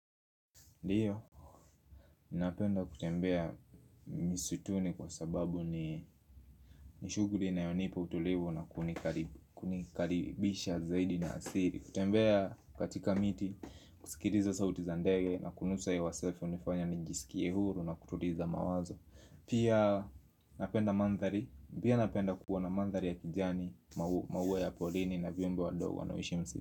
Ndio, napenda kutembea misutuni kwa sababu ni nishuguli inayonipa utulivu na kunikaribisha zaidi na asili kutembea katika miti, kusikiliza sauti za ndege na kunusa hewa safi hunifanya nijisikie huru na kutuliza mawazo Pia napenda mandhari, pia napenda kuwa na mandhari ya kijani, maua ya porini na vyombo wa dogwa na ushimsi.